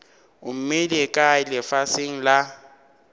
o mmeile kae lefaseng la